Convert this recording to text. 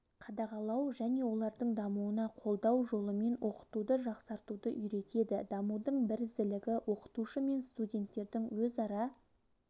қадағалау және олардың дамуына қолдау жолымен оқытуды жақсартуды үйретеді дамудың бірізділігі оқытушы мен студенттердің өзара